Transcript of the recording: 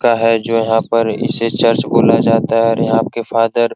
लगता है जो यहां पे इस चर्च बोला जाता है यहां के फादर --